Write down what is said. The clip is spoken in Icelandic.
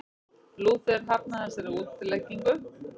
Lúther hafnaði þessari útleggingu.